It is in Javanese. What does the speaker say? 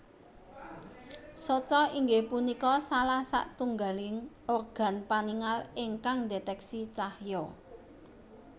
Soca inggih punika salah satunggaling organ paningal ingkang ndeteksi cahya